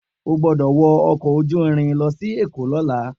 O gbọ́dọ̀ wọ ọkọ̀ ojú irin lọ sí èkó lọ́la